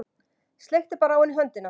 Sleikti bara á henni höndina.